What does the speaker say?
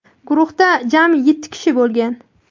Guruhda jami yetti kishi bo‘lgan.